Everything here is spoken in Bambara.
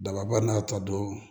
Dababa n'a ta don